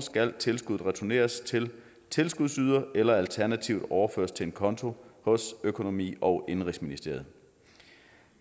skal tilskuddet returneres til tilskudsyderen eller alternativt overføres til en konto hos økonomi og indenrigsministeriet